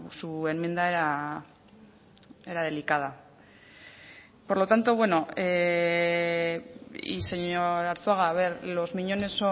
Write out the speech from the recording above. su enmienda era delicada y señor arzuaga los miñones